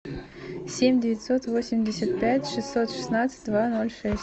семь девятьсот восемьдесят пять шестьсот шестнадцать два ноль шесть